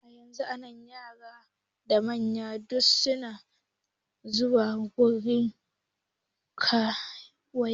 Yanzun yara da manya duk suna zuwa gun karuwai